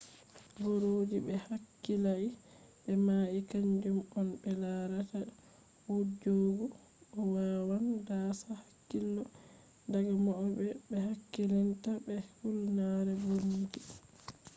boroji be hakkilai be mai kaanjum on ɓe larat je wujjugo bo wawan daasa hakkilo daga mauɓe be hakkilinta be hulnare bomji